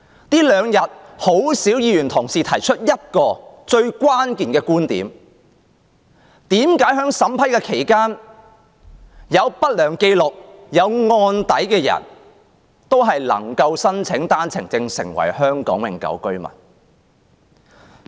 這兩天很少議員提出一個最關鍵的觀點，即為何在審批過程中，有不良紀錄或案底的內地人士也能夠申請單程證，成為香港永久性居民？